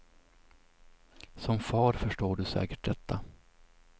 Som far förstår du säkert detta.